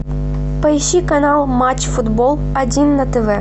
поищи канал матч футбол один на тв